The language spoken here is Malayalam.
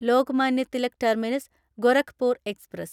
Lokmanya Tilak terminus Gorakhpur express